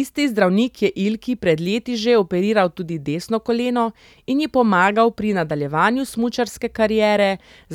Isti zdravnik je Ilki pred leti že operiral tudi desno koleno in ji pomagal pri nadaljevanju smučarske kariere,